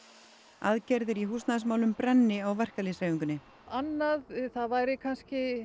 aðgerðir í húsnæðismálum brenni á verkalýðshreyfingunni annað það væri kannski